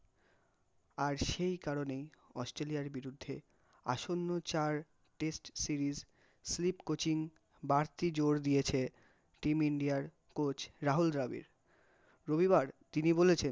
আর সেই কারণেই অস্ট্রেলিয়ার বিরুদ্ধে আসন্ন চার test series sleep coaching বাড়তি জোর দিয়েছে, team ইন্ডিয়ার coach রাহুল দ্রাবিড় রবিবার তিনি বলেছেন খুব,